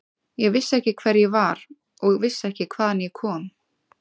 Ég vissi ekki hver ég var og vissi ekki hvaðan ég kom.